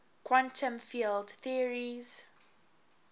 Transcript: quantum field theories